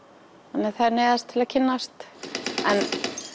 þannig að þær neyðast til að kynnast en